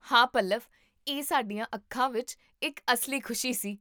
ਹਾਂ ਪੱਲਵ, ਇਹ ਸਾਡੀਆਂ ਅੱਖਾਂ ਵਿੱਚ ਇੱਕ ਅਸਲੀ ਖੁਸ਼ੀ ਸੀ